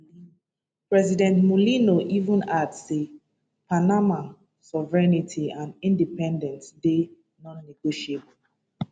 president mulino even add say panama sovereignty and independence dey non-negotiable